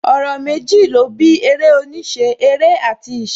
Ọ̀rọ̀ méjì ó bí eré oníṣẹ́; Eré àti ìṣe